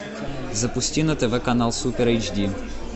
запусти на тв канал супер эйч ди